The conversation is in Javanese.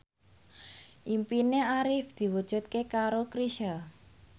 impine Arif diwujudke karo Chrisye